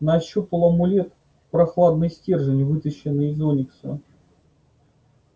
нащупал амулет прохладный стержень выточенный из оникса